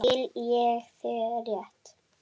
Skil ég þig rétt?